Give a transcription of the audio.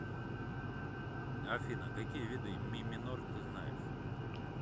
афина какие виды ми минор ты знаешь